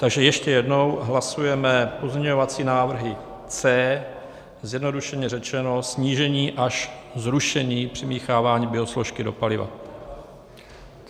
Takže ještě jednou, hlasujeme pozměňovací návrhy C, zjednodušeně řečeno snížení až zrušení přimíchávání biosložky do paliva.